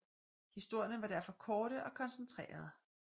Historierne var derfor korte og koncentrerede